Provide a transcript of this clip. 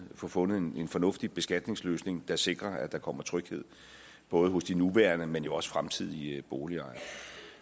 få fundet en fornuftig beskatningsløsning der sikrer at der kommer tryghed både hos de nuværende men jo også fremtidige boligejere